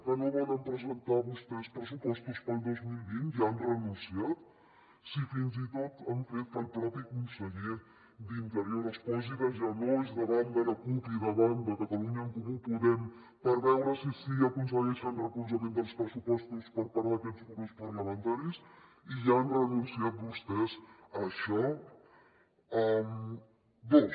que no volen presentar vostès pressupostos per al dos mil vint ja hi han renunciat si fins i tot han fet que el mateix conseller d’interior es posi de genolls davant de la cup i davant de catalunya en comú podem per veure si així aconsegueixen suport dels pressupostos per part d’aquests grups parlamentaris i ja han renunciat vostès a això dos